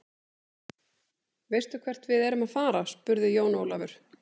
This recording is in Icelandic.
Veistu hvert við erum að fara, spurði Jón Ólafur.